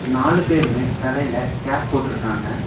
நாலு பேருமே தலைல கேப் போட்ருக்காங்க.